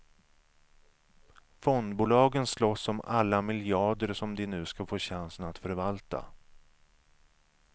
Fondbolagen slåss om alla miljarder som de nu ska få chansen att förvalta.